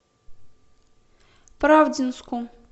правдинску